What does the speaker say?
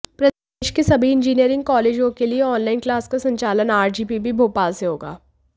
प्रदेश के सभी इंजीनियरिंग कॉलेजों के लिए ऑनलाइन क्लास का संचालन आरजीपीवी भोपाल से होगा